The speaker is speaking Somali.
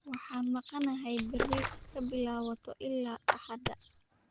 Waaan maqanahay berri kabilawato ila axada.